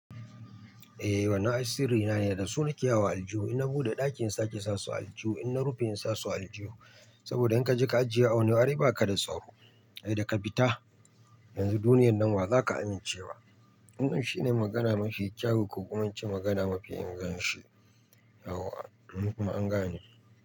Eh, wannan ai sirri na ne dasu nake yawo a aljihu. In na buɗe ɗaki in sake sasu a aljihu, in na rufe in sa su a aljihu. Saboda in ka je ka ajiye a wani wari ai baka da tsaro. Idan ka fita yanzu duniyar nan wazaka amincewa. Wannan shi ne magana mafi kyawu, ko kuma in ce magana mafi inganci. Yawwa kuma an gane.